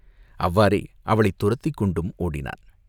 அவ்வாறே அவளைத் துரத்திக் கொண்டு ஓடினான்.